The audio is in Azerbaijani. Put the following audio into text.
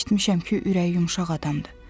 Eşitmişəm ki, ürəyi yumşaq adamdır.